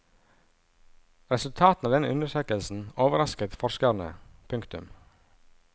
Resultatene av denne undersøkelsen overrasket forskerne. punktum